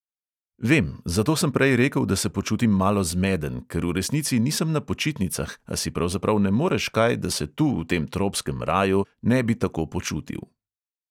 Vem, zato sem prej rekel, da se počutim malo zmeden, ker v resnici nisem na počitnicah, a si pravzaprav ne moreš kaj, da se tu v tem tropskem raju ne bi tako počutil.